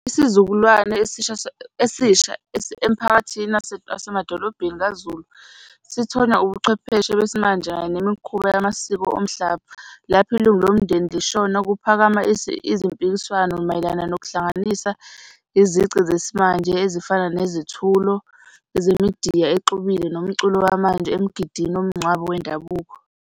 Isizukulwane esisha emphakathini asemadolobheni kaZulu, sithonywa ubuchwepheshe besimanje kanye nemikhuba yamasiko omhlaba. Lapho ilungu lomndeni lishona kuphakama izimpikiswano mayelana nokuhlanganisa izici zesimanje, ezifana nezithulo zemidiya exhubile nomculo wamanje emgidini womngcwabo wendabuko.